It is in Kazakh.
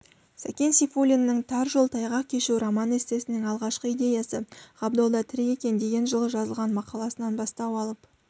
сәкен сейфуллиннің тар жол тайғақ кешу роман-эссесінің алғашқы идеясы ғабдолда тірі екен деген жылы жазылған мақаласынан бастау алып